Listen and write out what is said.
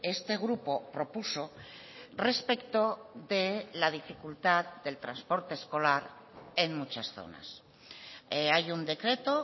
este grupo propuso respecto de la dificultad del transporte escolar en muchas zonas hay un decreto